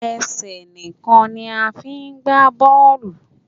Ẹsẹ̀ nìkan ni a fi ń gba bọ́ọ́lù.